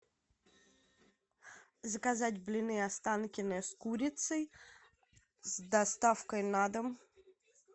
заказать блины останкино с курицей с доставкой на дом